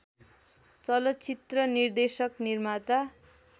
चलचित्र निर्देशक निर्माता